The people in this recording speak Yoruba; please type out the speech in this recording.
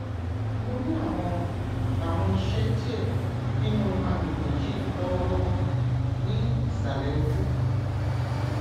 mo ni awọn awọn isẹ diẹ ninu agbegbe yii lọwọlọwọ ni isalẹ oju